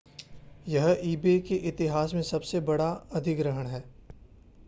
यह ebay के इतिहास में सबसे बड़ा अधिग्रहण है